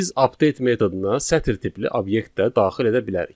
Biz update metoduna sətr tipli obyekt də daxil edə bilərik.